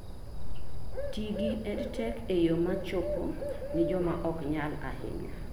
Ti gi Edtech e yo ma chopo ni joma ok nyal ahinya